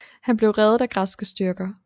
Han blev reddet af græske styrker